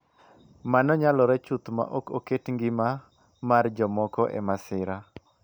Mano nyalore chuth ma ok oket Ngima mar jomoko e masira,”